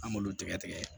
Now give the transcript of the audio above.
An b'olu tigɛ tigɛ